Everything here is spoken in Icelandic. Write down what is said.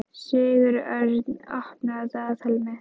Sigurörn, opnaðu dagatalið mitt.